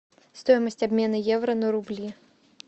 стоимость обмена евро на рубли